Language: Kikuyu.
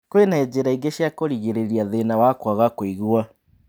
Kwĩna njĩra ingĩ cia kũrigĩrĩria thĩna wa kwaga kũigua